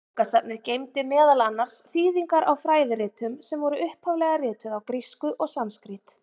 Bókasafnið geymdi meðal annars þýðingar á fræðiritum, sem voru upphaflega rituð á grísku og sanskrít.